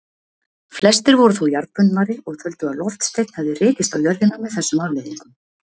Flestir voru þó jarðbundnari og töldu að loftsteinn hefði rekist á jörðina með þessum afleiðingum.